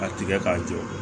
A tigɛ k'a jɔ